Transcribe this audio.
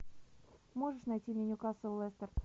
можешь найти мне ньюкасл лестер